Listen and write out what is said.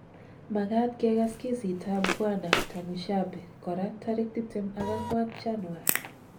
Makat kekas kesitap Bwana Tumushabe kora tarik tiptemak ang'wan Januar